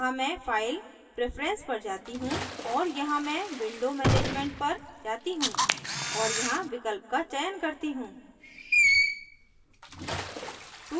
अतः मैं file preference पर जाती choose और यहाँ मैं window management पर जाती choose और यहाँ विकल्प का चयन करती choose